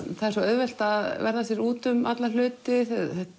það er svo auðvelt að verða sér út um alla hluti